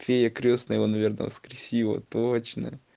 фея-крестная наверное воскресила точно